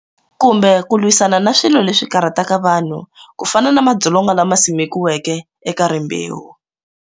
Kumbe ku lwisana na swilo leswi karhataka vanhu ku fana na madzolonga lama simekiweke eka rimbewu.